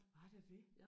Var der det?